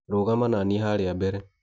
Rũgama nanie harĩa mbere.